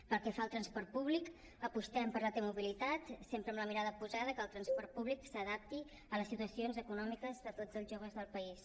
pel que fa al transport públic apostem per la t mobilitat sempre amb la mirada posada que el transport públic s’adapti a les situacions econòmiques de tots els joves del país